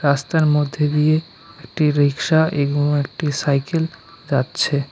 রাস্তার মধ্যে দিয়ে একটি রিকশা এবং একটি সাইকেল যাচ্ছে।